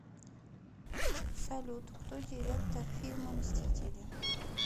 салют кто директор фильма мстители